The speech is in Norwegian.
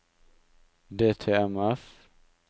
DTMF